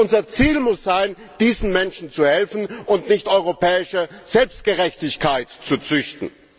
Unser Ziel muss sein, diesen Menschen zu helfen und nicht europäische Selbstgerechtigkeit zu züchten.